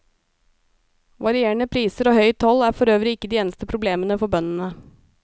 Varierende priser og høy toll er forøvrig ikke de eneste problemene for bøndene.